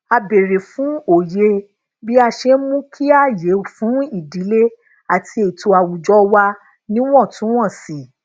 a béèrè fún òye bí a ṣe ń mú kí aaye fun ìdílé ati eto awùjọwà wa níwòntúnwònsì